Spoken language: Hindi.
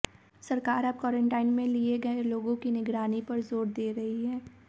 सरकार अब क्वारंटिन में लिए गए लोगों की निगरानी पर जोर दे रही है